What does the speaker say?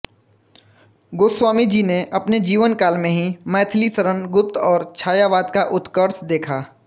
गोस्वामी जी ने अपने जीवनकाल में ही मैथिलीशरण गुप्त और छायावाद का उत्कर्ष देखा